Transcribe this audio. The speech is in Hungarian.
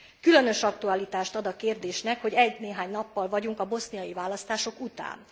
Különös aktualitást ad a kérdésnek, hogy egynéhány nappal vagyunk a boszniai választások után.